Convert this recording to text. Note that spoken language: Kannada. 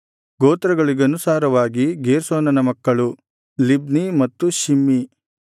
ಗೋತ್ರಗಳಿಗನುಸಾರವಾಗಿ ಗೇರ್ಷೋನನ ಮಕ್ಕಳು ಲಿಬ್ನೀ ಮತ್ತು ಶಿಮ್ಮಿ